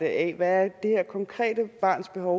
af hvad det her konkrete barns behov